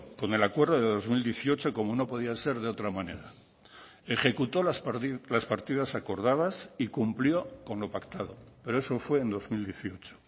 con el acuerdo de dos mil dieciocho como no podía ser de otra manera ejecuto las partidas acordadas y cumplió con lo pactado pero eso fue en dos mil dieciocho